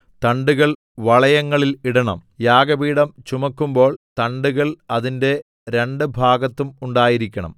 തണ്ടുകൾ വളയങ്ങളിൽ ഇടണം യാഗപീഠം ചുമക്കുമ്പോൾ തണ്ടുകൾ അതിന്റെ രണ്ട് ഭാഗത്തും ഉണ്ടായിരിക്കണം